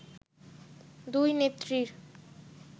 “দুই নেত্রীর